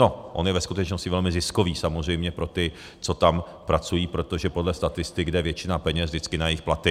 No, on je ve skutečnosti velmi ziskový samozřejmě pro ty, co tam pracují, protože podle statistik jde většina peněz vždycky na jejich platy.